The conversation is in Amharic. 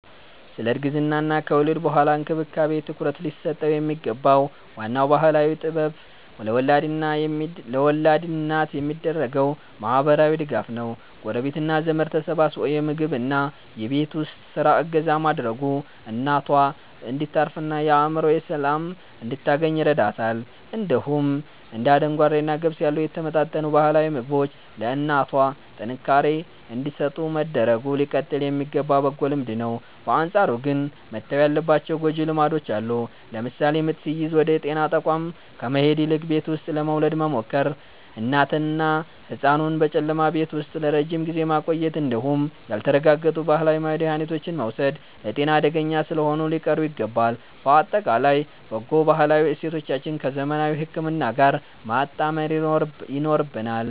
ስለ እርግዝናና ከወሊድ በኋላ እንክብካቤ ትኩረት ሊሰጠው የሚገባው ዋናው ባህላዊ ጥበብ ለወላድ እናት የሚደረገው ማህበራዊ ድጋፍ ነው። ጎረቤትና ዘመድ ተሰባስቦ የምግብና የቤት ውስጥ ስራ እገዛ ማድረጉ እናቷ እንድታርፍና የአእምሮ ሰላም እንድታገኝ ይረዳታል። እንዲሁም እንደ አደንጓሬና ገብስ ያሉ የተመጣጠኑ ባህላዊ ምግቦች ለእናቷ ጥንካሬ እንዲሰጡ መደረጉ ሊቀጥል የሚገባ በጎ ልማድ ነው። በአንጻሩ ግን መተው ያለባቸው ጎጂ ልማዶች አሉ። ለምሳሌ ምጥ ሲይዝ ወደ ጤና ተቋም ከመሄድ ይልቅ ቤት ውስጥ ለመውለድ መሞከር፣ እናትንና ህጻኑን በጨለማ ቤት ውስጥ ለረጅም ጊዜ ማቆየት እንዲሁም ያልተረጋገጡ ባህላዊ መድሃኒቶችን መውሰድ ለጤና አደገኛ ስለሆኑ ሊቀሩ ይገባል። ባጠቃላይ በጎ ባህላዊ እሴቶቻችንን ከዘመናዊ ህክምና ጋር ማጣመር ይኖርብናል።